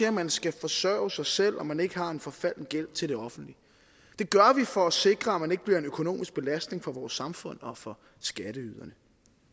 at man skal forsørge sig selv og at man ikke har en forfalden gæld til det offentlige det gør vi for at sikre at man ikke bliver en økonomisk belastning for vores samfund og for skatteyderne